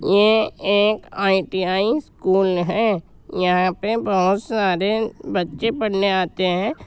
ये एक ITI. School है। यहां पे बोहोत सारे बच्चे पढ़ने आते हैं।